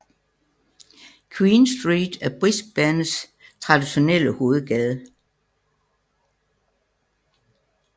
Queen Street er Brisbanes traditionelle hovedgade